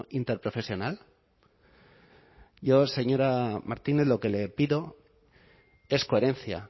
interprofesional yo señora martínez lo que le pido es coherencia